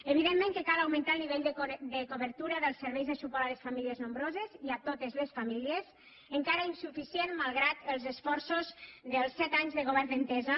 evidentment que cal augmentar el nivell de cobertura dels serveis de suport a les famílies nombroses i a totes les famílies encara insuficient malgrat els esforços dels set anys de govern d’entesa